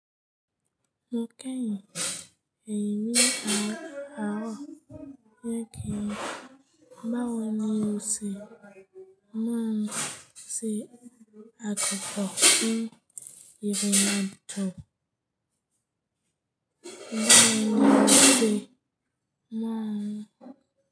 Mo kẹ́yin, èyí ni àárọ̀ yẹ kí n. Bawo ni o ṣe mọ̀ ọ́n se akọkọ ní ìrìnàjò?